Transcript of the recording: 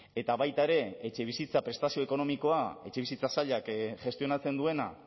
eta baita ere etxebizitza prestazio ekonomikoa etxebizitza sailak gestionatzen duena